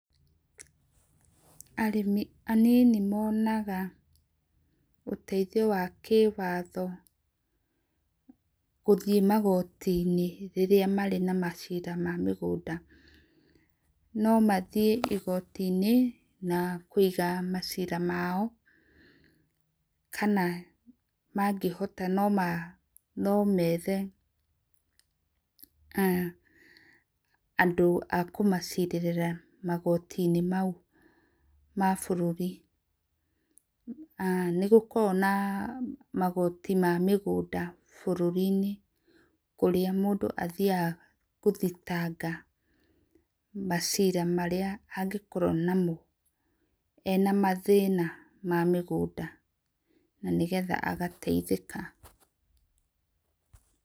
Arĩmi anini monaga ũteithĩo wa kĩwatho gũthĩe magoti inĩ rĩrĩa marĩ na macĩra ma magũnda no mathĩe igoti inĩ nakũĩga macĩra mao kana mangĩhota, no methe andũ a kũmacirrĩĩra magoti inĩ maũ ma bũrũri nĩgũkoragwo na magoti ma mũgũnda bũrũri ĩnĩ kũrĩa mũndũ athĩaga gũthĩtanga macira marĩa angĩkoro namo ena mathĩna ma mĩgũnda na nĩ getha agateĩthĩka.